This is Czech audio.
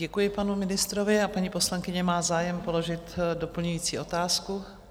Děkuji panu ministrovi a paní poslankyně má zájem položit doplňující otázku?